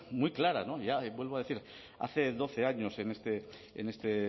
muy clara ya vuelvo a decir hace doce años en este